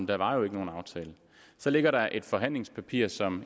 der var jo ikke nogen aftale så ligger der et forhandlingspapir som